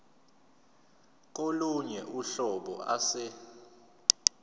kolunye uhlobo ase